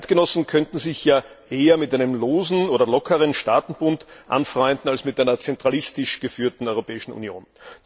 Die Eidgenossen könnten sich ja eher mit einem losen oder lockeren Staatenbund anfreunden als mit einer zentralistisch geführten Europäischen Union.